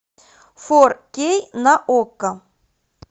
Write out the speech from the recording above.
фор кей на окко